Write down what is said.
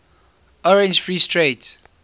orange free state